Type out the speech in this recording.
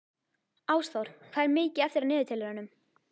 Ásþór, hvað er mikið eftir af niðurteljaranum?